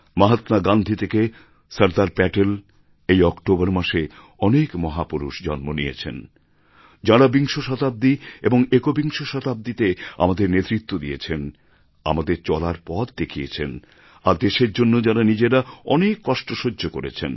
মহাত্মা গান্ধী থেকে সরদার প্যাটেল এই অক্টোবর মাসে অনেক মহাপুরুষ জন্ম নিয়েছেন যাঁরা বিংশ শতাব্দী এবং একবিংশ শতাব্দীতে আমাদের নেতৃত্ব দিয়েছেন আমাদের চলার পথ দেখিয়েছেন আর দেশের জন্য যাঁরা নিজেরা অনেক কষ্ট সহ্য করেছেন